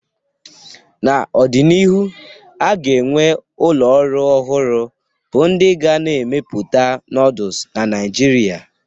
N'ọdịnihu, a ga-enwe ụlọ ọrụ ọhụrụ bụ ndị ga na-emepụta nooduls na Naijiria